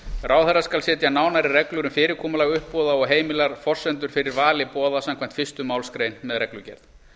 ráðherra skal setja nánari reglur um fyrirkomulag uppboða og heimilar forsendur fyrir vali boða samkvæmt fyrstu málsgrein með reglugerð